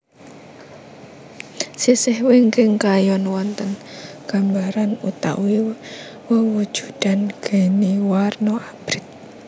Sisih wingking kayon wonten gambaran utawi wewujudan geni warna abrit